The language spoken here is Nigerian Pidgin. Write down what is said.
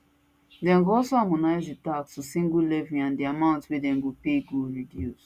dem go also harmonise di tax to single levy and di amount wey dem go pay go reduce